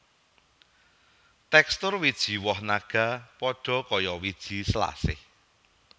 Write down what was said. Tekstur wiji woh naga padha kaya wiji selasih